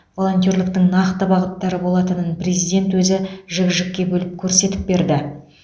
волонтерліктің нақты бағыттары болатынын президент өзі жік жікке бөліп көрсетіп берді